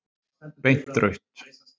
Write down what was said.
Beint rautt.